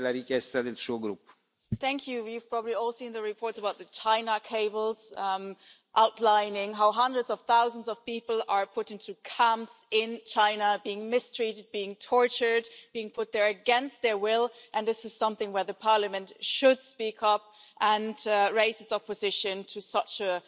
Mr President, we've probably all seen the reports about the China Cables, outlining how hundreds of thousands of people are put into camps in China being mistreated, being tortured, being put there against their will and this is something where Parliament should speak up and raise its opposition to such a